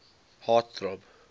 heart throb